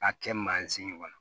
A kɛ mansin ɲɔgɔn na